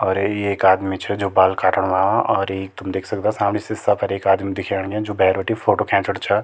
अर ये इक आदमी छ जू बाल काटण और ये तुम देख सकदा सामणी सीसा फर एक आदमी दिखेण जु भैर बटी फोटो खैचुंण छ।